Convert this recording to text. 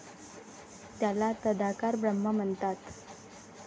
त्याला तदाकार ब्रह्मा म्हणतात.